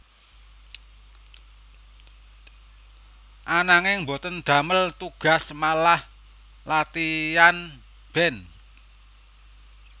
Ananging boten damel tugas malah latian band